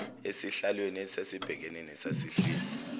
esihlalweni esasibhekene nesasihleli